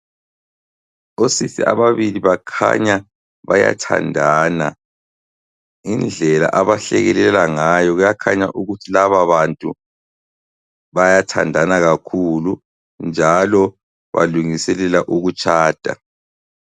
Osisi ababili bakhanya bayathandana, ngendlela abahlekelela ngayo kuyakhanya ukuthi lababantu bayathandana kakhulu njalo balungiselela ukutshada.